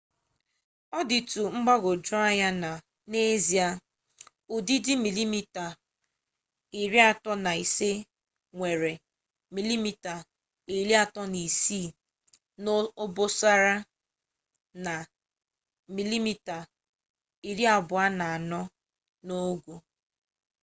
ọ dịtụ mgbagwoju anya na n'ezie ụdịdị 35mm nwere 36mm n'obosara na 24mm n'ogo